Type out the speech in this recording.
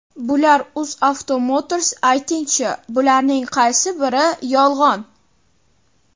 Bular: UzAuto Motors aytingchi, bularning qaysi biri yolg‘on?